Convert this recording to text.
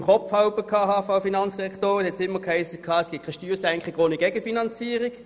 Wie ich es im Kopf habe, hiess es seitens der Finanzdirektorin immer, es gebe keine Steuersenkung ohne Gegenfinanzierung.